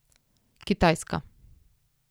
Kitajska.